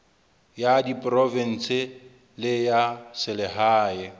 ya diprovense le ya selehae